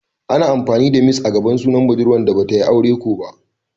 Ana amfani da "Miss" a gaban sunan budurwa da Bata yi aure kō ba.